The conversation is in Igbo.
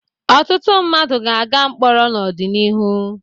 Ọtụtụ mmadụ ga-aga mkpọrọ n'ọdịnihu.